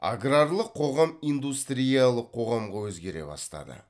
аграрлық қоғам индустриялық қоғамға өзгере бастады